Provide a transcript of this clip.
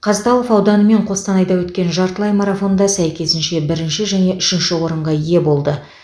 қазталов ауданы мен қостанайда өткен жартылай марафонда сәйкесінше бірінші және үшінші орынға ие болды